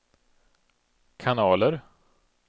kanaler